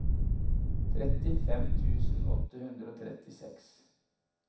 trettifem tusen åtte hundre og trettiseks